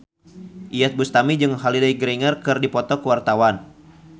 Iyeth Bustami jeung Holliday Grainger keur dipoto ku wartawan